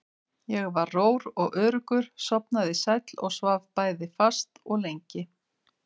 Ég var rór og öruggur, sofnaði sæll og svaf bæði fast og lengi.